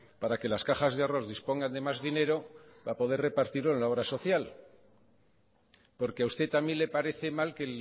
para que las cajas de ahorros dispongan de más dinero para poder repartirlo en la obra social porque a usted también le parece mal que